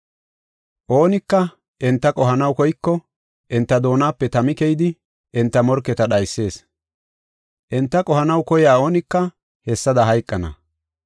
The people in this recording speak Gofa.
Oonika enta qohanaw koyko enta doonape tami keyidi, enta morketa dhaysees. Enta qohanaw koyiya oonika hessada hayqana.